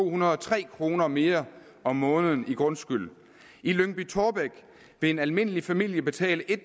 hundrede og tre kroner mere om måneden i grundskyld i lyngby taarbæk vil en almindelig familie betale